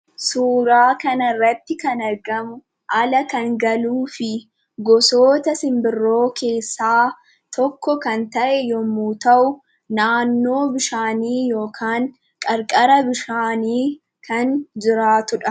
Suuraa kana irratti kan argamu ala kan galuufi gosoota simbirroo keessaa tokko kan ta'e yemmuu ta'u, naannoo bishaanii yookaan qarqara bishaanii kan jiraatudha.